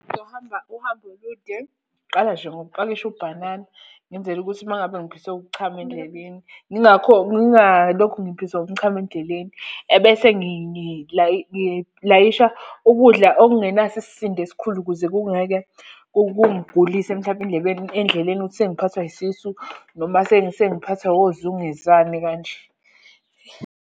Ngizohamba uhambo olude, ngiqala nje ngokupakisha ubhanana, ngenzela ukuthi uma ngabe ngiphiswe ukuchama endleleni ngingalokhu ngiphiswa umchamo endleleni. Ebese ngilayisha ukudla okungenaso isisindo esikhulu ukuze kungeke kungigulise mhlampe endlebeni endleleni ukuthi sengiphathwa yisisu. Noma sengiphathwa ozungezane kanje.